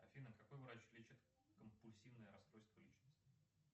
афина какой врач лечит компульсивное расстройство личности